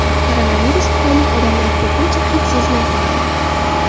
Koronavirus tufayli odamlar ko‘pincha hid sezmay qoladi.